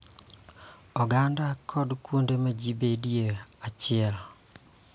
Oganda kod kuonde ma ji bedoe e achiel